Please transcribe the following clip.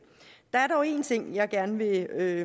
er